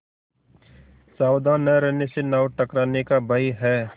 सावधान न रहने से नाव टकराने का भय है